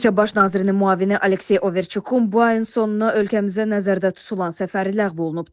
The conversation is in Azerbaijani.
Rusiya baş nazirinin müavini Aleksey Overçukun bu ayın sonuna ölkəmizə nəzərdə tutulan səfəri ləğv olunub.